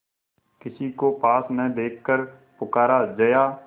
किसी को पास न देखकर पुकारा जया